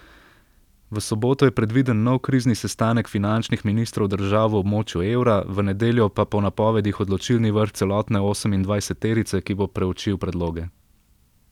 V soboto je predviden nov krizni sestanek finančnih ministrov držav v območju evra, v nedeljo pa po napovedih odločilni vrh celotne osemindvajseterice, ki bo preučil predloge.